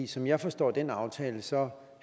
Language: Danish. som jeg forstår den aftale så